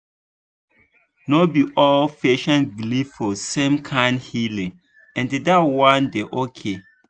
no be all patient believe for the same kind healing and that one dey okay.